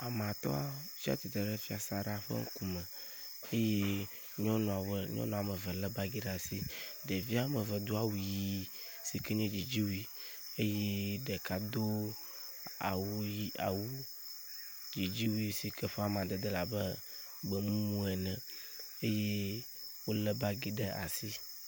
Ame atɔ tsi atsitre ɖe fiasaɖa ƒe ŋkum eye nyɔnu ame nyɔnu ame eve le bagi ɖe asi. Ɖevi ame eve do awu ʋi si ke nye dzidziwui eye ɖeka do awu ʋi awu dzidziwui si ke ƒe amadede le abe gbemumu ene eye wo le bagi ɖe asi.